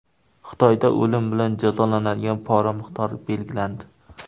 Xitoyda o‘lim bilan jazolanadigan pora miqdori belgilandi.